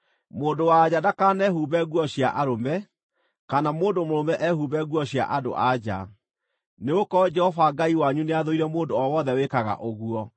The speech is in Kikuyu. Mũndũ-wa-nja ndakanehumbe nguo cia arũme, kana mũndũ mũrũme ehumbe nguo cia andũ-a-nja, nĩgũkorwo Jehova Ngai wanyu nĩathũire mũndũ o wothe wĩkaga ũguo.